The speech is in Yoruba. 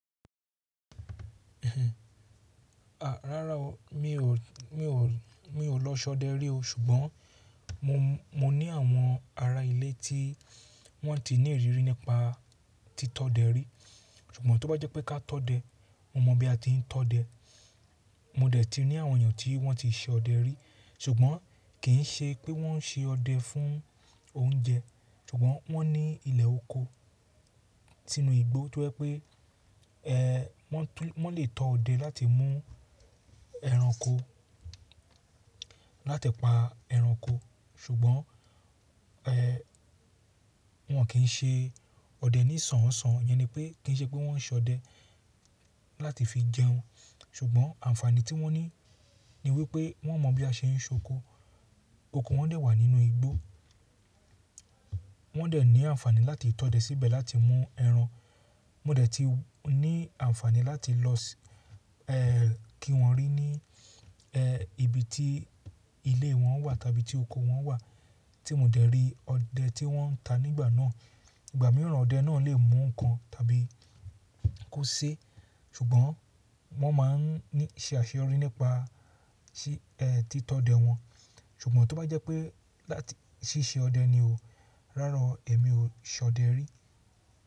Rárá o, mi ò lọ ṣọdẹ rí o. Ṣùgbọ́n mo ní àwọn ará ilé tí wọ́n ti ní ìrírí nípa tí tọdẹ rí. Ṣùgbọ́n tó bá jẹ́ pé ká tọdẹ, mo mọ̀ bí a ti ń tọdẹ. Mo dẹ̀ ti rí àwọn èèyàn tí wọ́n ti se ọdẹ rí. Ṣùgbọ́n kì í ṣe pé wọ́n se ọdẹ fún oúnjẹ. Ṣùgbọ́n wọ́n ní ilẹ̀ oko sínú igbó to je pe wọ́n lè tọ ọdẹ láti mú ẹranko, láti pa ẹranko. Ṣùgbọ́n wọ́n kì í ṣe ọdẹ nísọ̀ọ́nsọ̀ọ́, ìyẹn ni pé kì í ṣe pé wọ́n ń ṣọdẹ láti fi jẹun. Ṣùgbọ́n àǹfààní tí wọ́n ní ni wípé wọ́n mọ̀ bí a ṣe ń sokó. Oko wọ́n dẹ̀ wà nínú igbó. Wọ́n dẹ̀ ní àǹfààní láti tọdẹ síbẹ̀ láti mú ẹran. Mo dẹ̀ ti ní àǹfààní láti lọ kí wọ́n rí ní ibi tí ilé wọ́n wà tàbí tí oko wọ́n wà, tí mo dẹ̀ rí ọdẹ tí wọ́n ń ta nígbà náà. Ìgbà mìíràn ọdẹ náà lè mú nǹkan tàbí kó sé. Ṣùgbọ́n wọ́n máa ń ṣe àṣeyọrí nípa tí tọdẹ wọn. Ṣùgbọ́n tó bá jẹ́ pé láti ṣí ṣe ọdẹ ni o, rárá èmi ò ṣọdẹ rí.